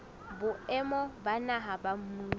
boemong ba naha ba mmuso